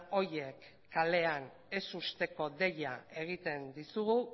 horiek kalean ez usteko deia egiten dizugu